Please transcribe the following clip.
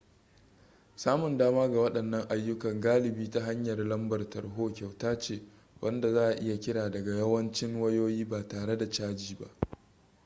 samun dama ga waɗannan ayyukan galibi ta hanyar lambar tarho kyauta ce wanda za a iya kira daga yawancin wayoyi ba tare da caji ba